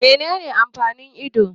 Menene amfanin ido?